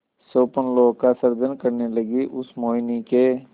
स्वप्नलोक का सृजन करने लगीउस मोहिनी के